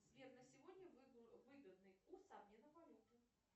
сбер на сегодня выгодный курс обмена валюты